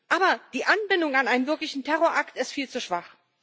Aber die Anbindung an einen wirklichen Terrorakt ist viel zu schwach.